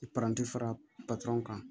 I paranti fara kan